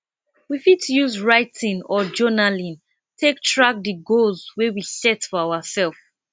we fit use writing or journaling take track di goals wey we set for ourself